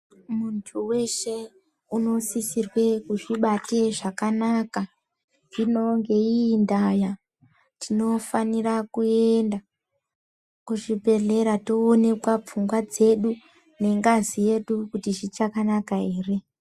Muntu weshe unosisa kuzvibata zvakanaka zvino ngeiyii ndaa tinofanira kuenda kuzvibhehleya toonekwa pfungwa dzedu nengazi yedu kuti zvichakanaka ere.